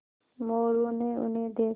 मोरू ने उन्हें देखा